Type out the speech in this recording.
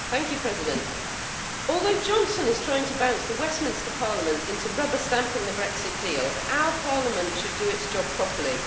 Madam President, although Johnson is trying to bounce the Westminster Parliament into rubber stamping the Brexit deal, our Parliament should do its job properly.